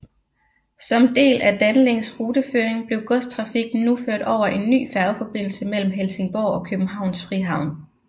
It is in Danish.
Som del af Danlinks ruteføring blev godstrafikken nu ført over en ny færgeforbindelse mellem Helsingborg og Københavns Frihavn